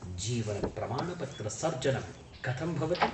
जीवनप्रमाणपत्रसर्जनं कथं भवति?